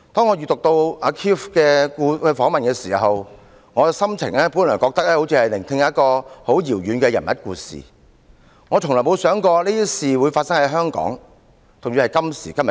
我以前讀到 Keith 的訪問報道時，心情本來是像聆聽一個遙遠地方人物的故事，卻從來沒有想過這些事會發生在今天的香港。